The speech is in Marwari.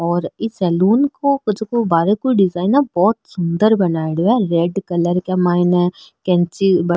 और ई सेलून को जैको बाहर की डिजाइन बहोत सुन्दर बनाईडो है रेड कलर के माइन कैची --